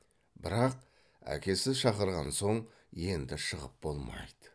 бірақ әкесі шақырған соң енді шығып болмайды